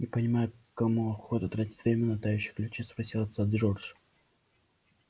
не понимаю кому охота тратить время на тающие ключи спросил отца джордж